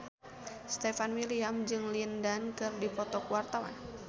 Stefan William jeung Lin Dan keur dipoto ku wartawan